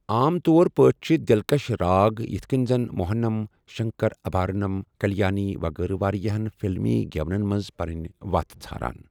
عام طور پٲٹھۍ چھِ دِلکَش راگ یتھ کٔنۍ زَن موہنَم، شنکرابھارنم، کلیانی، وغیرہ واریاہَن فلمی گٮ۪ونَن منٛز پنٕنۍ وتھ ژھاران۔